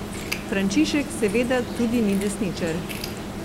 Frančišek seveda tudi ni desničar.